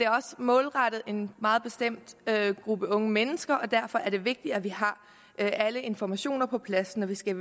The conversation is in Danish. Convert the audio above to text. også målrettet en meget bestemt gruppe unge mennesker og derfor er det vigtigt at vi har alle informationer på plads når vi skal